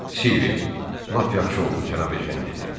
Silviya, lap yaxşı oldu Cənab Ejen dedi.